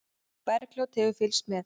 Bergljót hefur fylgst með.